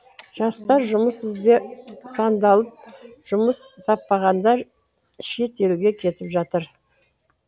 жастар жұмыс ізде сандалып жұмыс таппағандар шет елге кетіп жатыр